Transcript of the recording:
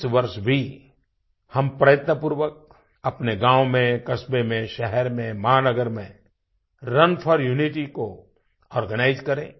इस वर्ष भी हम प्रयत्नपूर्वक अपने गाँव में कस्बे में शहर में महानगर में रुन फोर Unityको आर्गेनाइज करें